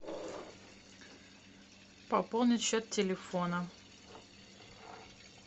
пополнить счет телефона